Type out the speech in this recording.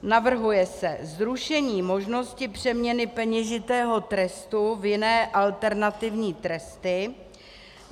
Navrhuje se zrušení možnosti přeměny peněžitého trestu v jiné alternativní tresty.